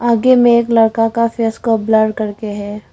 आगे में एक लड़का का फेस को ब्लर करके है।